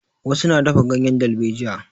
Wasu na dafa ganyen dalbejiya.